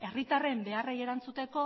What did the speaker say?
herritarren beharrei erantzuteko